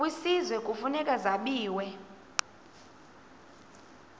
kwisizwe kufuneka zabiwe